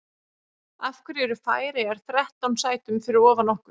Af hverju eru Færeyjar þrettán sætum fyrir ofan okkur?